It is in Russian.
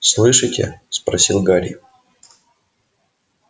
слышите спросил гарри